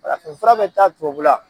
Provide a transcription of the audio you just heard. Farafinfura bɛ taa tubabula.